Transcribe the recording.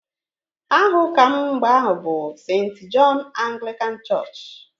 Aha ụka m mgbe ahụ bụ Sent Jọn Aglịkan chọọchị